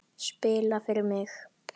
Spila fyrir mig?